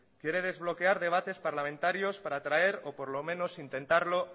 quiere desbloquear debates parlamentarios para traer o por lo menos intentarlo